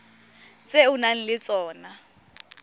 tse o nang le tsona